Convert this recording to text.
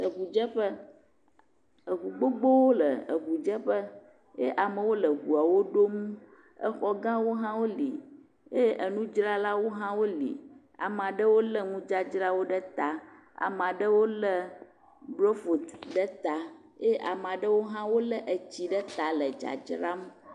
Le ŋudzeƒe, ŋu gbogbowo le ŋudzeƒe ye amewo le ŋuawo ɖom. Xɔ gawo hã woli eye nudzralawo hã woli. Ame aɖewo lé nudzradzrawo ɖe ta. Ame aɖewo lé bofloti ɖe ta eye ame aɖewo hã wolé tsi ɖe ta le dzadzram.